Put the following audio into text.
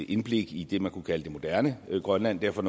indblik i det man kunne kalde det moderne grønland derfor